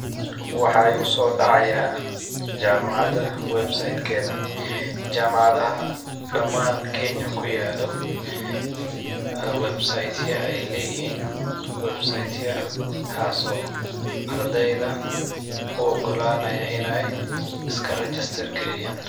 Waxaa igusoo dhacayaa jamacada website keeda ,jamacadaha dhamaan kenya ku yaaalo ,website ya ayeey lee yihiin, website yahaas oo ardeyda u ogolanaayo ineey iska regester gareyaan.